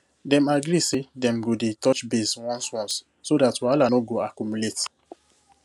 dem agree say dem go dey touch base once once so dat wahala no go accumulate